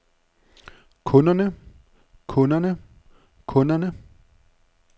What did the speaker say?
kunderne kunderne kunderne